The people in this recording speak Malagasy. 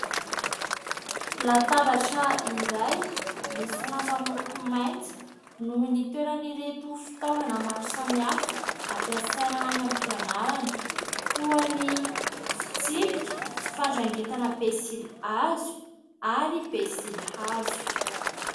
Latabatra iray misy lamba miloko mainty no nitoeran'ireto fitaovana maro samy hafa ampiasaina any am-pianarana toy ny fitsipika, fandrangitana pensilihazo ary pensilihazo.